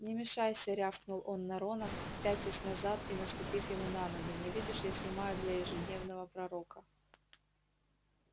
не мешайся рявкнул он на рона пятясь назад и наступив ему на ногу не видишь я снимаю для ежедневного пророка